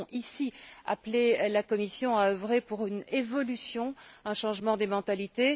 Nous devons ici appeler la Commission à œuvrer pour une évolution, un changement des mentalités.